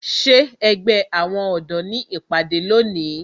Ṣé ẹgbẹ́ àwọn ọ̀dọ́ ní ìpàdé lónìí?